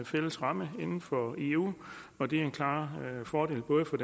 fælles ramme inden for eu og det er en klar fordel både for